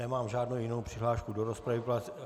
Nemám žádnou jinou přihlášku do rozpravy.